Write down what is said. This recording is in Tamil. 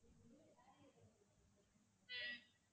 உம்